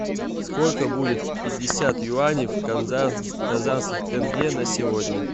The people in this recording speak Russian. сколько будет пятьдесят юаней в казахских тенге на сегодня